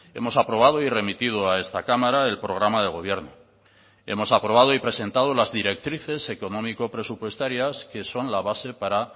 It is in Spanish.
hemos aprobado y remitido a esta cámara el programa de gobierno hemos aprobado y presentado las directrices económico presupuestarias que son la base para